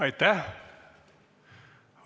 Aitäh!